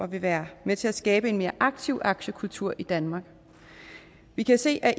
vil være med til at skabe en mere aktiv aktiekultur i danmark vi kan se at